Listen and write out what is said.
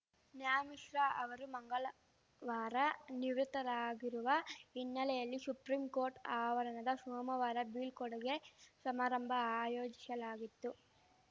ನ್ಯಾ ಮಿಶ್ರಾ ಅವರು ಮಂಗಳವಾರ ನಿವೃತ್ತರಾಗಿರುವ ಹಿನ್ನೆಲೆಯಲ್ಲಿ ಶುಪ್ರಿಂಕೋರ್ಟ್‌ ಆವರಣದ ಶೋಮವಾರ ಬೀಳ್ಕೊಡುಗೆ ಶಮಾರಂಭ ಆಯೋಜಿಶಲಾಗಿತ್ತು